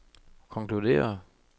konkluderer